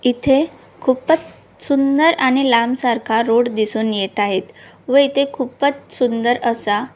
इथे खूपच सुंदर आणि लांब सारखा रोड दिसून येत आहेत व इथे खूपच सुंदर असा--